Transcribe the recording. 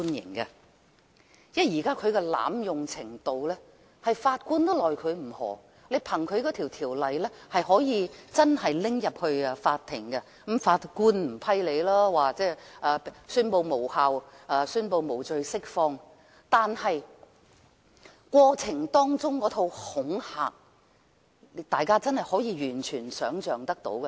憑藉這條例，真的可以入稟法院提出檢控，或許法官不會批准審理，最終會宣布無效和無罪釋放，但過程當中引起的恐懼，大家便是完全可以想象得到的。